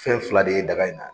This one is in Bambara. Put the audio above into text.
Fɛn fila de ye daga in na